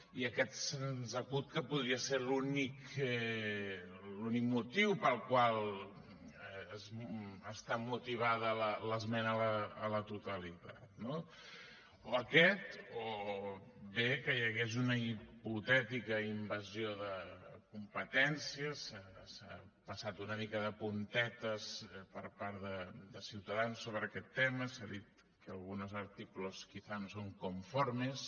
i aquest se’ns acut que podria ser l’únic motiu pel qual està motivada l’esmena a la totalitat no o aquest o bé que hi hagués una hipotètica invasió de competències s’ha passat una mica de puntetes per part de ciutadans sobre aquest tema s’ha dit que algunos artículos quizá no son conformes